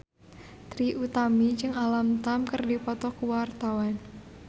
Trie Utami jeung Alam Tam keur dipoto ku wartawan